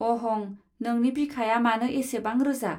अहं; नोंनि बिखाया मानो एसेबां रोजा